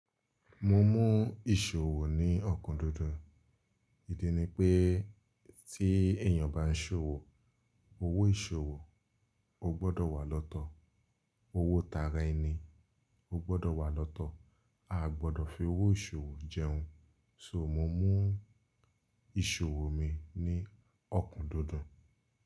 Mo mú ìṣòwò ní ọ̀kún dídùn, ìdí ni pé tí èyàn bá ń ṣòwò, owó ìṣòwò ó gbọ́dọ̀ wà lọ́tọ̀, owó tara ẹni ó gbọ́dọ̀ wà lọ́tọ̀, a ò gbọ́dọ̀ fi owó ìṣòwò jẹun. So mo mú ìṣòwò mi ní ọ̀kún dídùn.